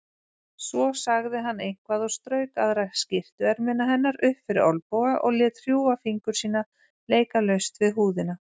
Svo sagði hann eitthvað og strauk aðra skyrtuermina hennar upp fyrir olnboga og lét hrjúfa fingur sína leika laust við húðina.